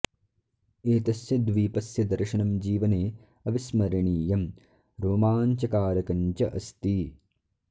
एतस्य द्वीपस्य दर्शनं जीवने अविस्मरणीयं रोमाञ्चकारकं च अस्ति